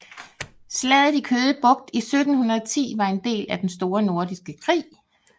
Slaget i Køge Bugt i 1710 var en del af Den Store Nordiske Krig